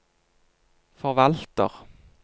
forvalter